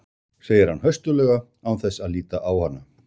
segir hann höstuglega án þess að líta á hana.